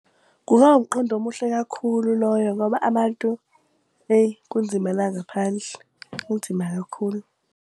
Kungaba umqondo omuhle kakhulu loyo ngoba abantu eyi kunzima la ngaphandle, kunzima kakhulu.